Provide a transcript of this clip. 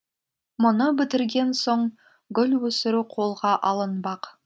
мұны бітірген соң гүл өсіру қолға алынбақ